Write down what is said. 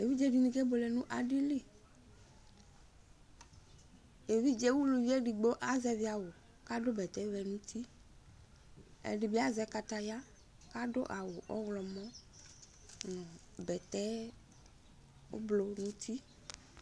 eʋiɗjeɗɩni aƙeɓʊele nʊ aɗɩlɩ ʊlʊʋɩeɗɩgɓo azɛʋɩawʊ aɗʊ ʊgo ɔʋɛ ɛɗɩɓɩazɛ ƙataƴa aɗʊ awʊ ɔwlɔmɔ ʊgo aʋaʋlɩ nʊ ʊtɩ